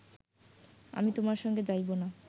আমি তোমার সঙ্গে যাইব না